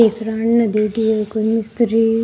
कोई मिस्त्री --